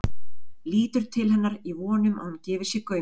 Lítur til hennar í von um að hún gefi sér gaum.